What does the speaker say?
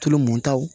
Tulu mɔntaw